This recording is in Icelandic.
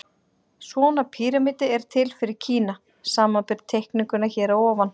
Svona píramídi er til fyrir Kína, samanber teikninguna hér að ofan.